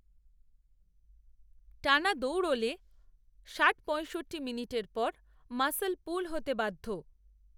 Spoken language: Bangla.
টানা দৌড়লে ষাটপঁয়ষট্টি মিনিটের পর মাসল পুল হতে বাধ্য